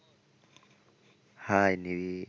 Hi Neil